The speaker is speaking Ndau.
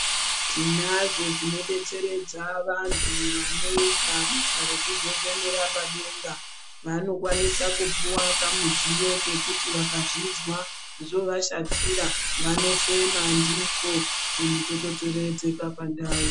Tinazvo zvinodetseredza vanhu vanoita basa rekuzokufemera padenga. Vanokwanisa kupiwa kamudziyo kuti, vakazvizwa zvovashatira, vanofema ndiko, zvinhu zvotodzororedzeka pandau.